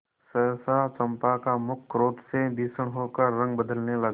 सहसा चंपा का मुख क्रोध से भीषण होकर रंग बदलने लगा